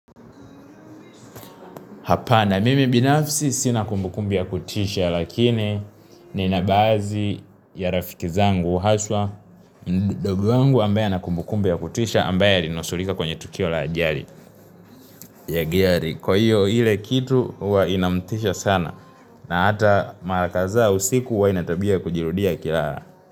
Hapana mimi binafsi sina kumbukumbu ya kutisha lakini nina baadhi ya rafiki zangu haswa mdogu wangu ambaye ana kumbukumbu ya kutisha ambaye alinusurika kwenye tukio la ajali ya gari kwa hivyo ile kitu huwa inamtisha sana na hata mara kadhaa usiku huwa ina tabia ya kujirudia akilala.